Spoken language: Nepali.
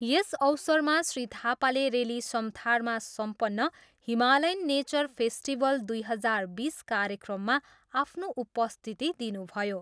यस अवसरमा श्री थापाले रेली समथारमा सम्पन्न हिमालयन नेचर फेस्टिभल दुई हजार बिस कार्यक्रममा आफ्नो उपस्थिति दिनुभयो।